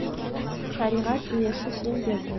шариғат иесі сен бе едің